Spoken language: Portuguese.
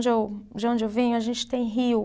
De o, de onde eu vim, a gente tem rio.